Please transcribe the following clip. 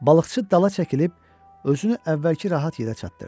Balıqçı dala çəkilib özünü əvvəlki rahat yerə çatdırdı.